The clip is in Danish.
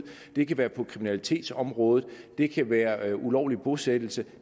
det kan være på kriminalitetsområdet det kan være ulovlig bosættelse